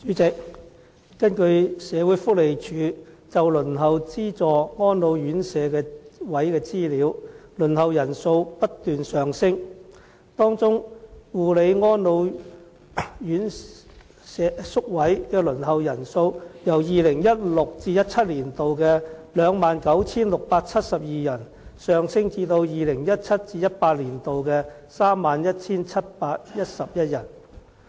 主席，根據社會福利署就輪候資助安老院舍宿位的資料，輪候人數不斷上升，當中護理安老宿位的輪候人數，由 2016-2017 年度的 29,672 人，上升至 2017-2018 年度的 31,711 人。